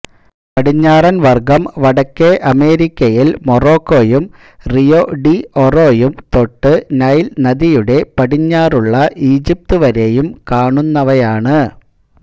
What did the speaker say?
പടിഞ്ഞാറൻ വർഗ്ഗം വടക്കേ അമേരിക്കയിൽ മൊറോക്കൊയും റിയോ ഡി ഒറോയും തൊട്ട് നൈൽ നദിയുടെ പടിഞ്ഞാറുള്ള ഈജിപ്ത് വരേയും കാണുന്നവയാണ്